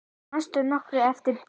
Manstu nokkuð eftir Bjarna?